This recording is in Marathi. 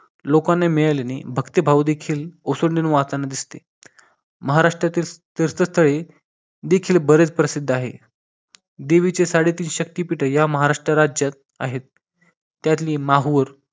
लोकांना मिळाले नाही भक्ती भाव देखील ओसांडून वाहताना दिसते महाराष्ट्रातील तीर्थस्थळे देखील बरेच प्रसिद्ध आहे देवीचे साडेतीन शक्तीपीठ देखील राज्यात आहे त्यातली माहूर